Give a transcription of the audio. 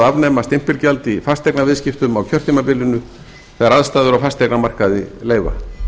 afnema stimpilgjald í fasteignaviðskiptum á kjörtímabilinu þegar aðstæður á fasteignamarkaði leyfa